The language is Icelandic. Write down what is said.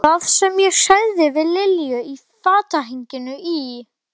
Þau virtust sérkennilega umkomulaus á sjávarkambinum.